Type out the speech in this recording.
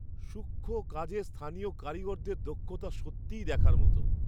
সূক্ষ্ম কাজে স্থানীয় কারিগরদের দক্ষতা সত্যিই দেখার মতো!